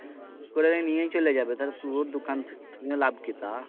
করে নিয়ে চলে যাবে তালে তু ওর দোকান নিয়ে লাভ কি তা